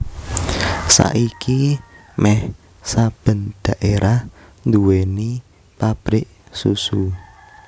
Saiki méh saben dhaérah nduwèni pabrik susu